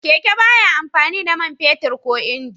Keke ba ya amfani da man fetur ko inji.